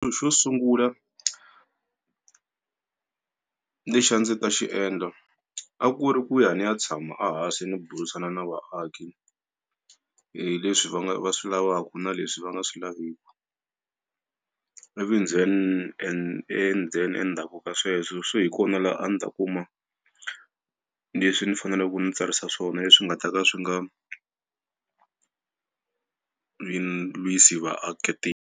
Xo sungula lexi a ndzi ta xiendla a ku ri ku ya ni ya tshama ahansi ni burisana na vaaki hi leswi va va swi lavaka na leswi va nga swi laveki. Ivi then and then endzhaku ka sweswo se hi kona laha a ndzi ta kuma leswi ni faneleke ku ni tsarisa swona leswi nga ta ka swi nga lwisi lwisi .